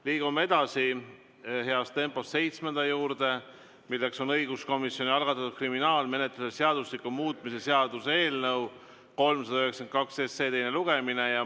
Liigume edasi heas tempos seitsmenda päevakorrapunkti juurde, milleks on õiguskomisjoni algatatud kriminaalmenetluse seadustiku muutmise seaduse eelnõu 392 teine lugemine.